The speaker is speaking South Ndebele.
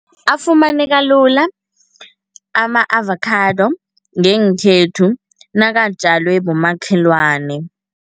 Afumaneka lula ama-avakhado ngenkhethu nakatjalwe bomakhelwane.